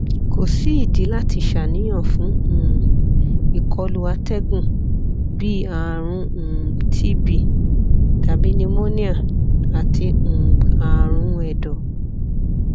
ko si idi lati ṣàníyàn fun um ikolu atẹgun bii arun um tb tabi pneumonia ati um aarun ẹdọ